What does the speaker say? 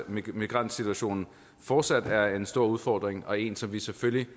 migrantsituationen fortsat er en stor udfordring og en som vi selvfølgelig